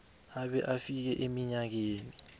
abe afike eminyakeni